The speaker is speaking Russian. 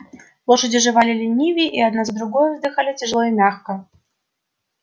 лошади жевали ленивее и одна за другою вздыхали тяжело и мягко